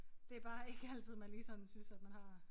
Det bare ikke altid man lige sådan synes at man har